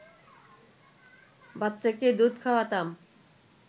বাচ্চাকে দুধ খাওয়াতাম